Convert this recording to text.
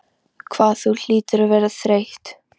Ebeneser, viltu hoppa með mér?